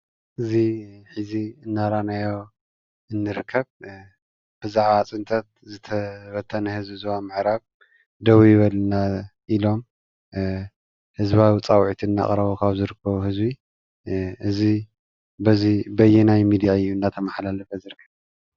እዚ ሐዚ እናረኣናዮ ዝርከብ ብዛዕባ ፅንተት ዝተበተነ ናይ ህዝቢ ዞባ ምዕራብ ደው ይበል ኢሎም ህዝባዊ ፃዊዒት እናቅረቡ ካብ ዝርከቡ ህዝቢ እዚ በዚ በየናይ ሚድያ እዩ ዳ ተመሓላለፈ እዩ ዝርከብ?